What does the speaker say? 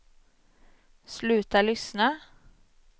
sluta lyssna